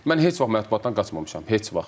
Mən heç vaxt mətbuatdan qaçmamışam, heç vaxt.